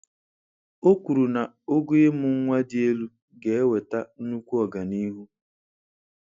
O kwuru na ogo ịmụ nwa dị elu ga-eweta nnukwu ọganihu.